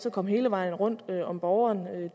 at komme hele vejen rundt om borgeren